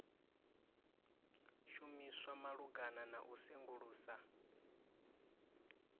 shumiswa malugana na u sengulusa